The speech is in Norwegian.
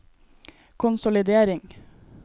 konsolidering